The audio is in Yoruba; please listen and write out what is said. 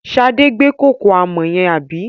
Sadé gbé kòkò àmọ̀ yẹn, àbí?